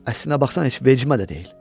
Əslinə baxsan heç vecimə də deyil.